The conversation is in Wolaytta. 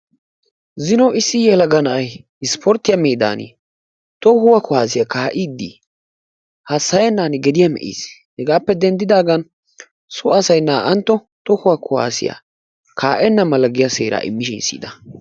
zino issi yelaga na'ay isporttiya meedan tohuwaa kuwassiya kaa'iddi hassayennan gediya me'iis. Hegaappe denddidaga so asay naa''antto tohuwaa kuwaassiya kaa'enna mala giya seeraa immishin siyyida.